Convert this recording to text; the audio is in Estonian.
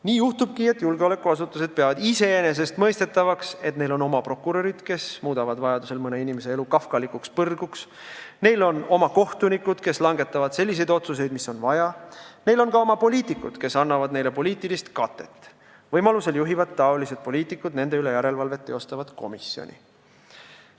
Nii juhtubki, et julgeolekuasutused peavad iseenesestmõistetavaks, et neil on oma prokurörid, kes muudavad vajadusel mõne inimese elu kafkalikuks põrguks, neil on oma kohtunikud, kes langetavad selliseid otsuseid, nagu on vaja, neil on ka oma poliitikud, kes annavad neile poliitilist katet ning võimalusel juhivad nende üle järelevalvet tegevat komisjoni.